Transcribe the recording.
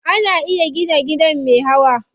Ana iya gina gida me hawa.